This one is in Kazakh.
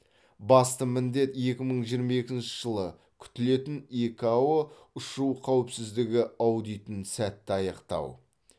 басты міндет екі мың жиырма екінші жылы күтілетін икао ұшу қауіпсіздігі аудитін сәтті аяқтау